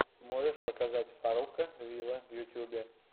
можешь показать фарруко виво в ютьюбе